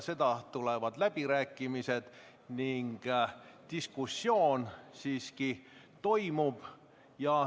Siis tulevad läbirääkimised ning toimub diskussioon.